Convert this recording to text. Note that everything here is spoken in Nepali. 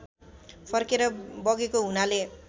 फर्केर बगेको हुनाले